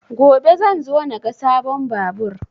Gobe zan zo na ga sabon babur